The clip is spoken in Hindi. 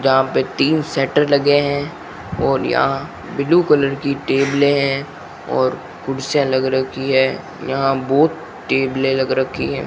यहां पे तीन शटर लगे हैं और यहां ब्लू कलर की टेबले है और कुर्सियां लग रखी है यहां बहुत टेबले लग रखी हैं।